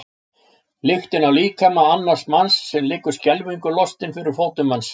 Lyktina af líkama annars manns sem liggur skelfingu lostinn fyrir fótum manns.